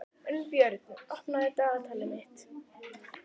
Unnbjörn, opnaðu dagatalið mitt.